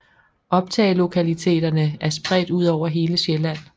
Optagelokaliteterne er spredt ud over hele Sjælland